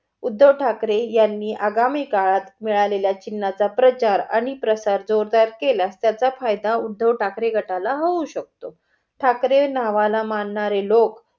उद्धव ठाकरे यांनी आगामी काळात मिळालेल्या चिन्हाचा प्रचार आणि प्रसार जोरदार केला त्याचा फायदा उद्धव ठाकरे गटाला होऊ शकतो. ठाकरे नावाला मानणारे लोक